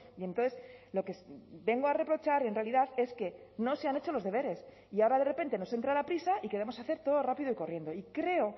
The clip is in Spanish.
y entonces lo que vengo a reprochar en realidad es que no se han hecho los deberes y ahora de repente nos entra la prisa y queremos hacer todo rápido y corriendo y creo